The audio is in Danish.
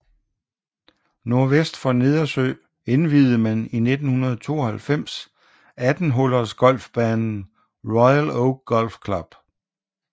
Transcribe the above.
Nordvest for Nedersø indviede man i 1992 18 hullers golfbanen Royal Oak Golf Club